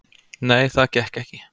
"""Nei, það gekk ekki."""